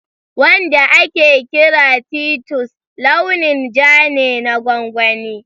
Wanda ake kira titus launin ja ne na gongoni